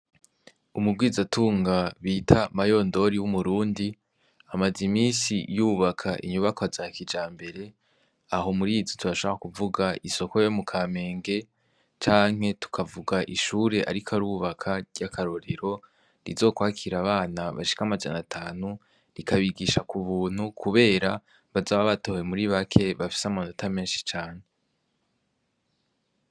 Umugwizatunga bita mayondori w'umurundi amaze imisi yubaka inyubako za kija mbere aho murizi turashaka kuvuga isoko yo mu kamenge canke tukavuga ishure, ariko arubaka ry'akarorero rizokwakira abana bashika amajana atanu rikabigishakoe ubuntu, kubera bazaba batohwe muri bake bafise amu nota menshi cane.